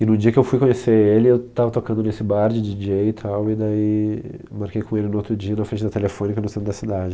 E no dia que eu fui conhecer ele, eu estava tocando nesse bar de DJ e tal, e daí marquei com ele no outro dia na frente da telefônica no centro da cidade.